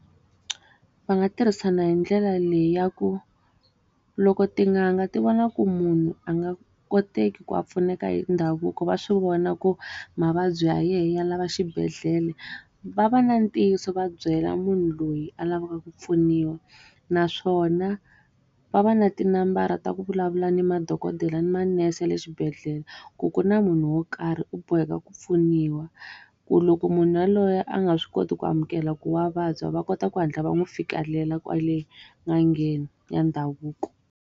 Va nga tirhisana hi ndlela leyi ya ku, loko tin'anga ti vona ku munhu a nga koteki ku a pfuneka hi ndhavuko va swi vona ku mavabyi ya yena ya lava xibedhlele, va va na ntiyiso va byela munhu loyi a lavaka ku pfuniwa. Naswona va va na tinambara ta ku vulavula ni madokodela ni manese ya le swibedhlele, ku ku na munhu wo karhi u boheka ku pfuniwa. Ku loko munhu yaloye a nga swi koti ku amukela ku wa vabya va kota ku hatla va n'wi fikelela kwale n'angeni ya ndhavuko.